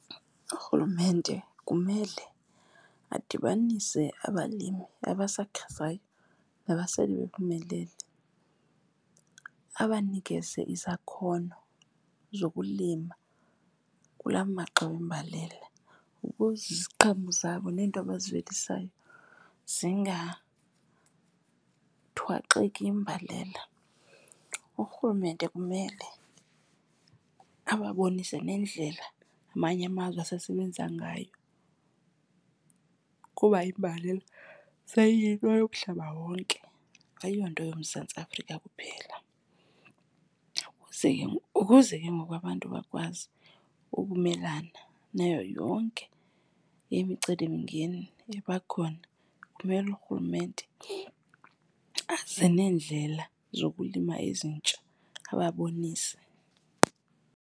Urhulumente kumele adibanise abalimi abasakhasayo nabasele bephumelele, abanikeze izakhono zokulima kula maxa wembalela ukuze iziqhamo zabo neento abazivelisayo zingathwaxeki yimbalela. Urhulumente kumele abababonise nendlela amanye amazwe asesebenza ngayo kuba imbalela seyiyinto yomhlaba wonke, ayiyonto yoMzantsi Afrika kuphela. Ukuze , kuze ke ngoku abantu bakwazi ukumelana nayo yonke imicelimngeni eba khona kumele urhulumente aze neendlela zokulima ezintsha ababonise.